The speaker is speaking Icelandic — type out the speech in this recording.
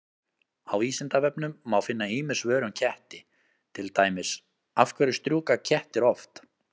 Á Vísindavefnum má finna ýmis svör um ketti, til dæmis: Af hverju strjúka kettir oft?